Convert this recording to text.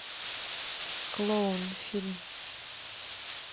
клоун фильм